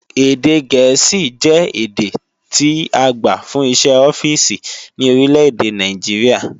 Èdè Gẹ̀ẹ́sì jẹ́ èdè tí agbà fún iṣẹ́ ọ́fíìsì ní orílèdè Nàìjíríà